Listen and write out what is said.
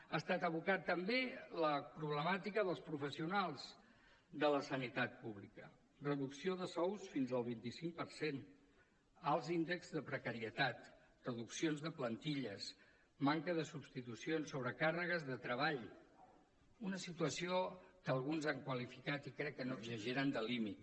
ha estat evocada també la problemàtica dels professionals de la sanitat pública reducció de sous fins al vint cinc per cent alts índexs de precarietat reduccions de plantilles manca de substitucions sobrecàrregues de treball una situació que alguns han qualificat i crec que no exageren de límit